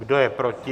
Kdo je proti?